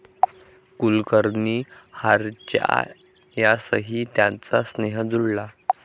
कुलकर्णी ह्यांच्यासही त्यांचा स्नेह जुळला